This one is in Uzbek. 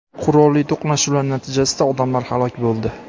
qurolli to‘qnashuvlar natijasida odamlar halok bo‘ldi.